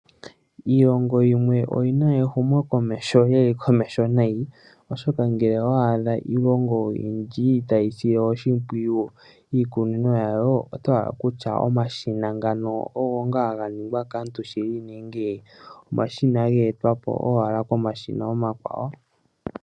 Iilongo yimwe oyina ehumo komeho lyili komeho nayi oshoka ngele owadhaa iilongo oyindji tasile oshimpwiyu iikunino yawo oto hala kutya omashina ngano ogo ngaa haganingwa kaantu shili, nenge omashina geetwapo owala komashina omakwawo.